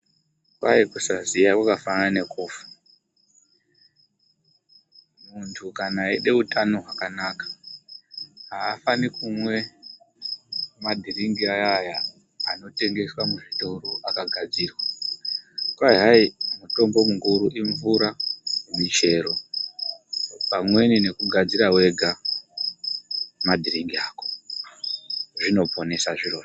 Kwai kusaziya kwakafanana nekufa. Antu kana eide utano hwakanaka aafaniri kumwe madhiringi aya aya anotengeswa muzvitoro akagadzirwa. Kwai hayi mutombo mukuru imvura, muchero pamweni nekugadzira wega madhiringi ako. Zvinoponesa zvirozvo.